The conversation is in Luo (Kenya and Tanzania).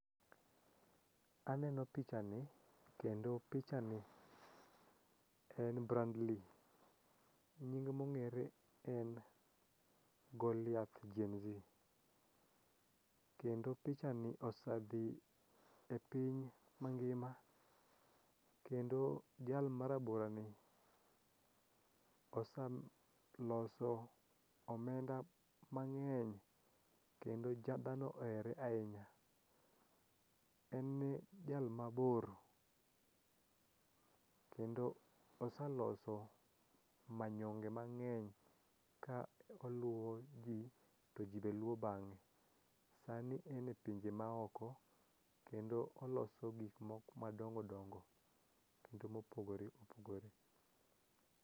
Aneno pichani kendo pichani en Brandley nying mong'ere en Goliath Gen Z. Kendo pichani osedhi e piny mangima kendo jal maraborani osaloso omenda mang'eny kendo dhano ohere ahinya. En jal mabor kendo osaloso manyonge mang'eny ka oluwo ji to ji be luwo bang'e. Sani en e pinje maoko kendo oloso gikmoko madongodongo kendo mopogore opogore.